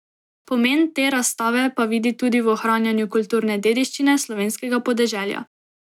Pomen te razstave pa vidi tudi v ohranjanju kulturne dediščine slovenskega podeželja.